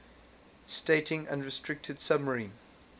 stating unrestricted submarine